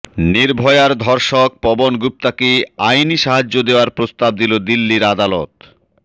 নির্ভয়ার ধর্ষক পবন গুপ্তাকে আইনি সাহায্য দেওয়ার প্রস্তাব দিল দিল্লির আদালত